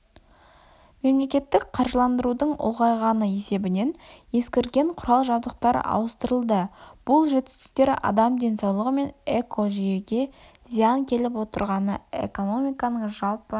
мемлекеттік қаржыландырудың ұлғайғаны есебінен ескірген құрал-жабдықтар ауыстырылды бұл жетістіктер адам денсаулығы мен экожүйеге зиян келіп отырғаны экономиканың жалпы